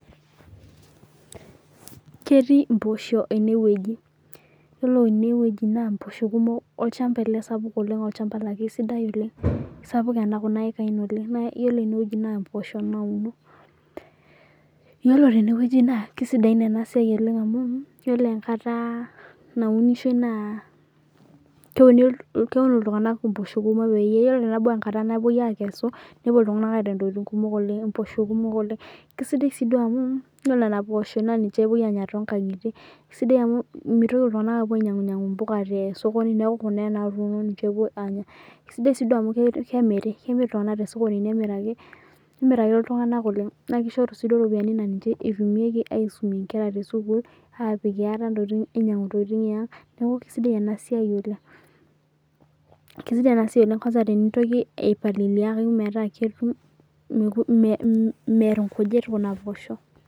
Ketii mpoosho eneeweji ,yiolo enewejio naa mposho kumok ,olchampa ele sapuk olchampa laa keisidai oleng .sapukin kuna ikae naa yiolo eneweji naa mpoosho nauno ,yiolo teneweji naa kisaidain ena siai oleng amu yiolo enkata naunishoi naa keuni iltunganak mpooshok kumok peyie tenebau enkata napoi aikesa nepuo ltunganak aitayu ntokiting kumok oleng .keisidai sii amu yiolo Nena oposho naa ninye epuoi aanya tonkangitie isidai amu mitiko iltunganak apuo ainyangunyangu mpuka te sokoni ,sidai sii amu kemiri kemir iltunganak tosokoni nimiraki iltunganak oleng naa kishoru sii ropiyiani naa ninche eitumiaki aisume nkera esukulun, ainyangunye ntokiting eang, neeku keisidai ena siai oleng, keisidai aitoki ena siai tenintoki aipalilia metaa meer nkujit Kuna oposho.